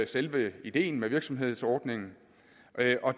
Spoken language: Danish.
selve ideen med virksomhedsordningen